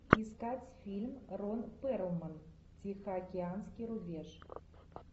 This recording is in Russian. искать фильм рон перлман тихоокеанский рубеж